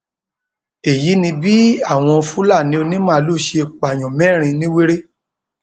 èyí ni bí àwọn fúlàní onímaalùú ṣe pààyàn mẹrin nìwérè